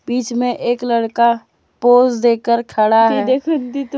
बीच में एक लड़का पोज देकर खड़ा है।